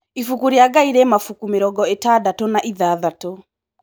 Ibuku rĩa Ngai rĩ mabuku mĩrongo ĩtandatũ na ithathatũ.